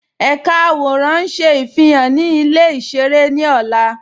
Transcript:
Ẹ̀ká àwọ̀rán ń ṣé ifihan ni ilẹ̀ ìṣẹ̀rẹ̀ ni ọ̀là.